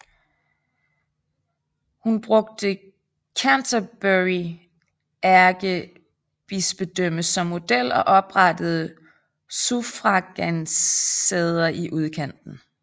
Han brugte Canterbury ærkebispedømme som model og oprettede suffragansæder i udkanten